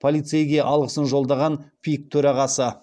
полицейге алғысын жолдаған пик төрағасы